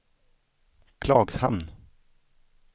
Klagshamn